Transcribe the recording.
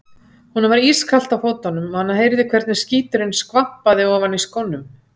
Honum var orðið ískalt á fótunum og hann heyrði hvernig skíturinn skvampaði ofan í skónum.